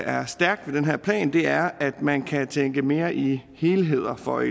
er stærkt ved den her plan er at man kan tænke mere i helheder for